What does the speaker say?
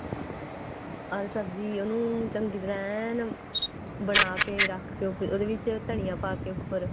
ਅਰ ਸਬਜੀ ਉਹਨੂੰ ਚੰਗੀ ਤਰ੍ਹਾਂ ਐਨ ਬਣਾਕੇ ਰੱਖ ਕੇ ਫਿਰ ਉਹਦੇ ਵਿੱਚ ਧਨੀਆਂ ਪਾਕੇ ਉੱਪਰ